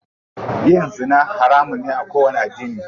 Yin zina haramun ne a kowanni addini.